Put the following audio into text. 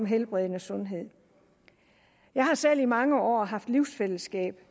helbredende sundhed jeg har selv i mange år haft livsfællesskab